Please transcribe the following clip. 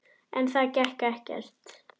En það gekk ekkert.